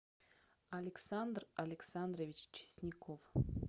александр александрович чесняков